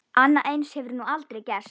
Annað eins hefur nú gerst.